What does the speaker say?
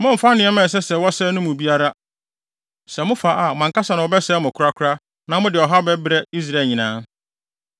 Mommmfa nneɛma a ɛsɛ sɛ wɔsɛe no no mu biara, sɛ mofa a, mo ankasa na wɔbɛsɛe mo korakora na mode ɔhaw bɛbrɛ Israel nyinaa.